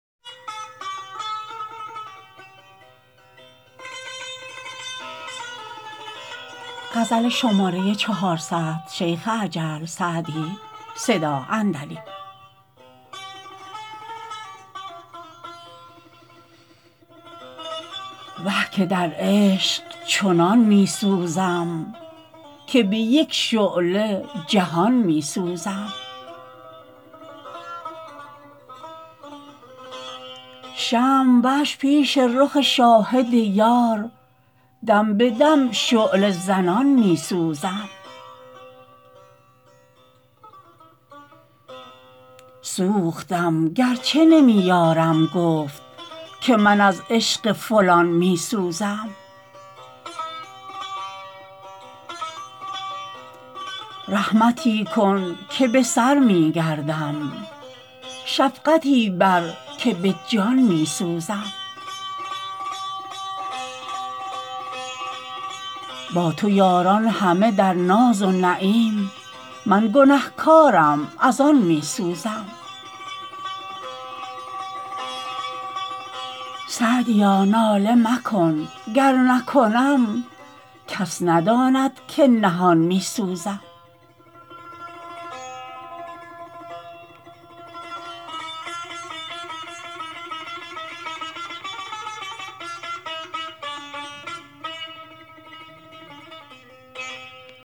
وه که در عشق چنان می سوزم که به یک شعله جهان می سوزم شمع وش پیش رخ شاهد یار دم به دم شعله زنان می سوزم سوختم گر چه نمی یارم گفت که من از عشق فلان می سوزم رحمتی کن که به سر می گردم شفقتی بر که به جان می سوزم با تو یاران همه در ناز و نعیم من گنه کارم از آن می سوزم سعدیا ناله مکن گر نکنم کس نداند که نهان می سوزم